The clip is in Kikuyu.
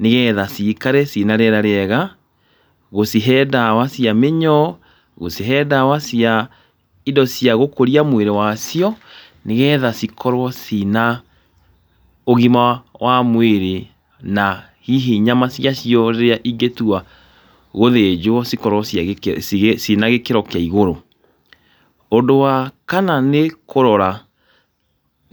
nĩgetha ciikare cina rĩera rĩega, gũcihe ndawa cia mĩnyoo, gũcihe ndawa cia indo cia gũkũria mwĩrĩ wacio, nĩgetha cikorwo cina ũgima wa mwĩrĩ na hihi nyama ciacio rĩrĩa ingĩtua gũthĩnjwo cikorwo cina gĩkĩro kĩa igũrũ. Ũndũ wa kana nĩ kũrora